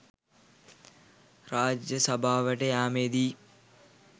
රාජසභාවට යාමේදී